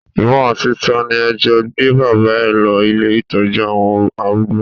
Ìwọ àti ta ni ẹ jọ gbé bàbá ẹ lọ ilé ìtọ́jú àwọn arúgbó?